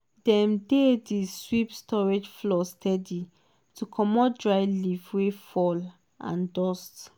dem dey di sweep storage floor steady to comot dry leaf wey fall and dust.